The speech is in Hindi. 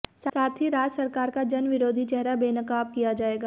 साथ ही राज्य सरकार का जन विरोधी चेहरा बेनकाब किया जाएगा